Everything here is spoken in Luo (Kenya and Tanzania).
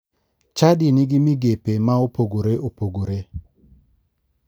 Chadi nigi migepe ma opogore opogore.